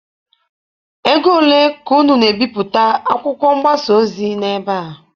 Ego ole ka unu na-ebipụta akwụkwọ mgbasa ozi n'ebe a?